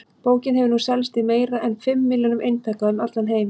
Bókin hefur nú selst í meira en fimm milljónum eintaka um allan heim.